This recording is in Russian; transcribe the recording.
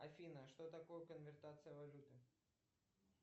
афина что такое конвертация валюты